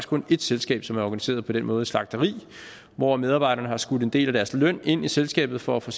kun et selskab som er organiseret på den måde slagteri hvor medarbejderne har skudt en del af deres løn ind i selskabet for at få